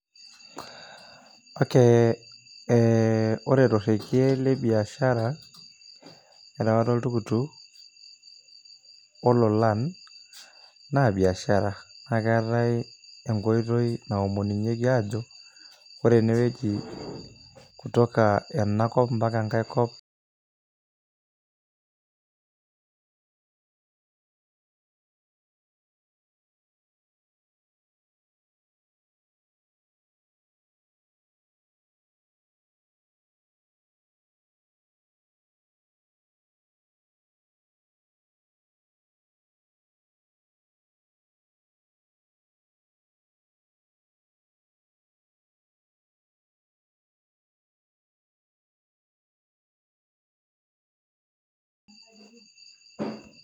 Ok e ore torege lebiashara erewata oltukutuk ololan na biashara na keetai nkoitoinaomunyeki ajo kore enewueji kutoka enewueji ambaka enkai kop [break]